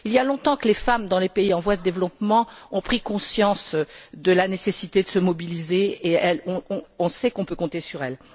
Il y a longtemps que les femmes dans les pays en voie de développement ont pris conscience de la nécessité de se mobiliser et on sait qu'on peut compter sur elles.